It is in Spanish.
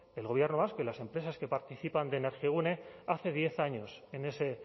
el gobierno vasco y las empresas que participan de energigune hace diez años en ese